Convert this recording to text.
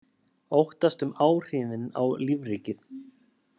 Óttast um áhrifin á lífríkið